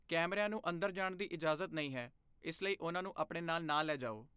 ਕੈਮਰਿਆਂ ਨੂੰ ਅੰਦਰ ਜਾਣ ਦੀ ਇਜਾਜ਼ਤ ਨਹੀਂ ਹੈ, ਇਸ ਲਈ ਉਹਨਾਂ ਨੂੰ ਆਪਣੇ ਨਾਲ ਨਾ ਲੈ ਜਾਓ।